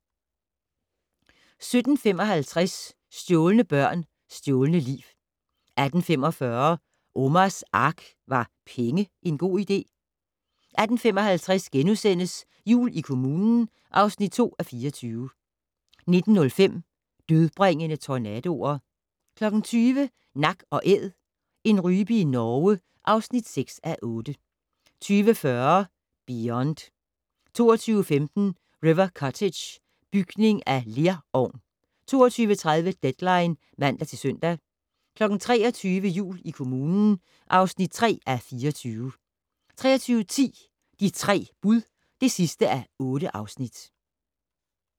17:55: Stjålne børn - stjålne liv 18:45: Omars Ark - Var penge en god idé? 18:55: Jul i kommunen (2:24)* 19:05: Dødbringende tornadoer 20:00: Nak & Æd - en rype i Norge (6:8) 20:40: Beyond 22:15: River Cottage - bygning af lerovn 22:30: Deadline (man-søn) 23:00: Jul i kommunen (3:24) 23:10: De tre bud (8:8)